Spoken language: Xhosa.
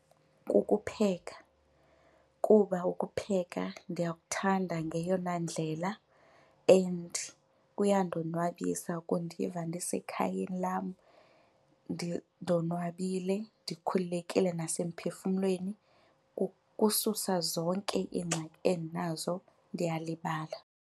Kukupheka kuba ukupheka ndiyakuthanda ngeyona ndlela and kuyandonwabisa, kundiva ndisekhayeni lam ndonwabile ndikhululekile nasemphefumlweni. Kususa zonke iingxaki endinazo, ndiyalibala.